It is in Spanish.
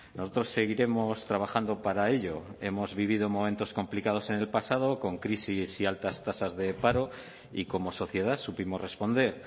nosotros seguiremos trabajando para ello hemos vivido momentos complicados en el pasado con crisis y altas tasas de paro y como sociedad supimos responder